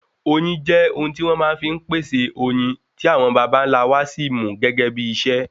oyin jẹ ohun ti won máa n fi pèsè oyin ti awon bàbá nlá wa Si mu gégé bí iṣẹ